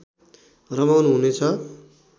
रमाउनु हुने छ